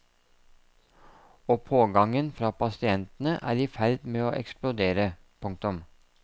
Og pågangen fra pasientene er i ferd med å eksplodere. punktum